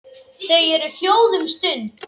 Þau eru hljóð um stund.